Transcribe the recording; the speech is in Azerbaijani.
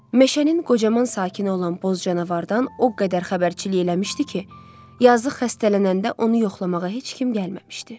Meşənin qocaman sakini olan boz canavardan o qədər xəbərçilik eləmişdi ki, yazıq xəstələnəndə onu yoxlamağa heç kim gəlməmişdi.